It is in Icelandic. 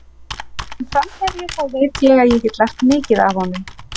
Sem framherji þá veit ég að ég get lært mikið af honum.